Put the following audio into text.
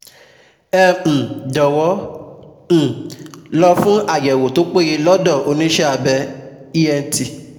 Ẹ um jọ̀wọ́ ẹ um lọ fún àyẹ̀wò tó péye lọ́dọ̀ oníṣẹ́abẹ ent